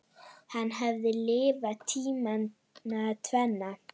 Hann hafði lifað tímana tvenna.